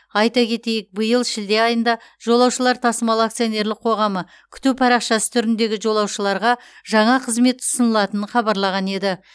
айта кетейік биыл шілде айында жолаушылар тасымалы акционерлік қоғамы күту парақшасы түріндегі жолаушыларға жаңа қызмет ұсынылатынын хабарлаған еді